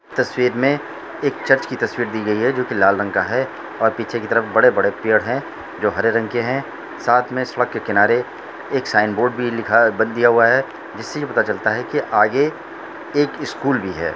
तस्वीर में एक चर्च की तस्वीर दी गयी है जोकि लाल रंग का है और पीछे की तरफ़ बड़े-बड़े पेड़ है जो हरे रंग के हैसाथ में सड़क के किनारे एक साइन बोर्ड़ भी लिखा-बद दिया हुआ है जिससे ये पता चलता हैकी आगे एक स्कूल भी है।